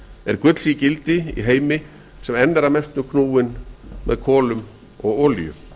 er gulls ígildi í heimi sem enn er að mestu knúinn með kolum og olíu